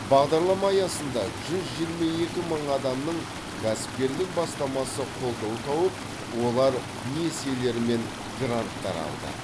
бағдарлама аясында жүз жиырма екі мың адамның кәсіпкерлік бастамасы қолдау тауып олар несиелер мен гранттар алды